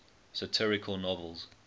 satirical novels